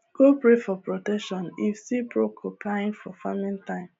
go pray for protection if see porcupine for farming time